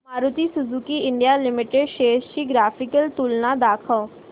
Maruti Suzuki India limited shares ची graphical तुलना दाखव